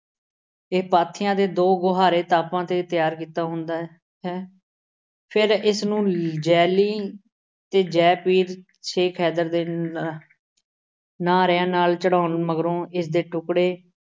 ਇਹ ਪਾਥੀਆਂ ਦੇ ਦੋ ਗੁਹਾਰੇ 'ਤੇ ਤਿਆਰ ਕੀਤਾ ਹੁੰਦਾ ਹੈ ਅਹ ਹੈ। ਫਿਰ ਇਸ ਨੂੰ ਤੇ ਜੈ ਪੀਰ ਸ਼ੇਖ ਹੈਦਰ ਦੇ ਨਾ ਆਹ ਨਾਅਰਿਆਂ ਨਾਲ ਚੜ੍ਹਾਉਣ ਮਗਰੋਂ ਇਸ ਦੇ ਟੁਕੜੇ